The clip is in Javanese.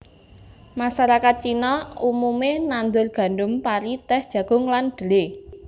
Masarakat Cina umume nandur gandum pari tèh jagung lan dhelé